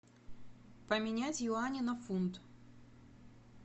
поменять юани на фунт